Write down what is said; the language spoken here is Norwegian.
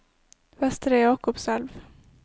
Vestre Jakobselv